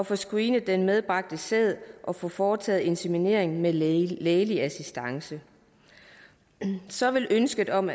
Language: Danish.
få screenet den medbragte sæd og få foretaget inseminering med lægelig lægelig assistance så ville ønsket om